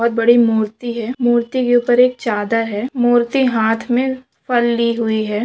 बहुत बड़ी मूर्ति है मूर्ति के ऊपर एक चादर है मूर्ति हाथ में पाली हुई है।